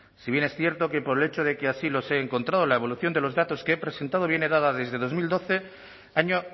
si bien es cierto que por el hecho de que así los he encontrado la evolución de los datos que he presentado viene dada desde dos mil doce año